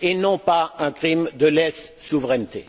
et non pas un crime de lèse souveraineté.